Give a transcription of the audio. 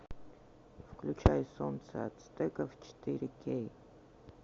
включай солнце ацтеков четыре кей